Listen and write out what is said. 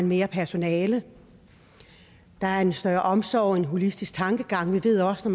mere personale der er en større omsorg en holistisk tankegang vi ved også